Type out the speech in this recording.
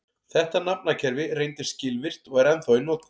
Þetta nafnakerfi reyndist skilvirkt og er ennþá í notkun.